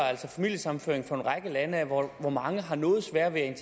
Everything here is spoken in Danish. familiesammenføringer fra en række lande hvor mange har noget svært ved at